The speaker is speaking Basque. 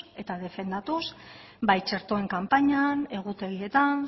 eta defendatuz bai txertoen kanpainan egutegietan